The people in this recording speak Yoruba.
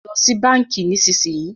Lọ sì bánkì nísìsiyìí!